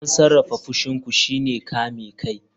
Don sarrafa fushin ku shine kame kai.